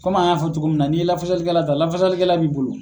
Kɔmi an y'a fɔ cogo min na n'i ye lafasalikɛla ta lafasalikɛla b'i bolo.